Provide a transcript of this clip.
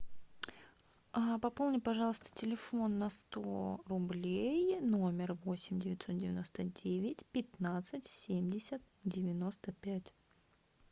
а пополни пожалуйста телефон на сто рублей номер восемь девятьсот девяносто девять пятнадцать семьдесят девяносто пять